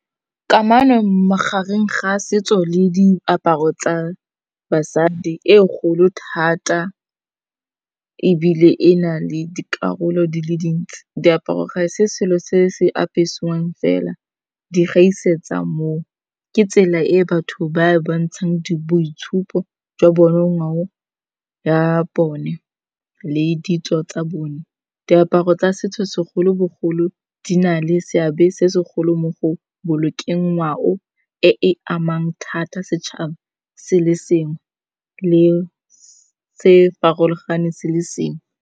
Kamano magareng ga a setso le diaparo tsa basadi e kgolo thata, ebile e na le dikarolo di le dintsi diaparo ga se selo se se apesiwang fela. Di gaisetsa moo ke tsela e batho ba bontshang boitshupo jwa bone, ngwao ya bone le ditso tsa bone. Diaparo tsa setso segolobogolo di na le seabe se segolo mo go bolokeng ngwao e e amang thata setšhaba se le sengwe le se farologane se le sengwe.